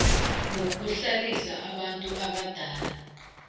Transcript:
wokuhlalisa abantu abadala